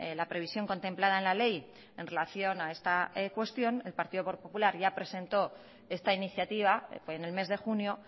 la previsión contemplada en la ley en relación a esta cuestión el partido popular ya presentó esta iniciativa en el mes de junio